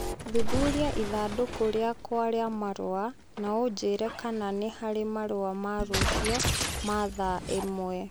Thuthuria ithandũkũ rĩakwa rĩa marũa na ũnjĩĩre kana nĩ harĩ marũa ma rũciũ ma thaa ĩmwe.